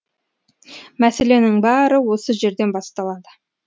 мәселенің бәрі осы жерден басталады